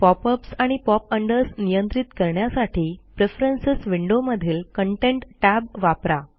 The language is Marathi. pop अप्स आणि pop अंडर्स नियंत्रित करण्यासाठी प्रेफरन्स विंडो मधील कंटेंट tab वापरा